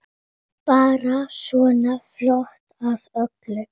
Bara svona fljót að öllu.